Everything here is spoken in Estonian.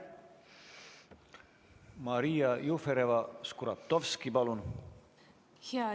Maria Jufereva-Skuratovski, palun!